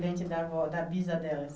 Descendente da avó, da bisa delas.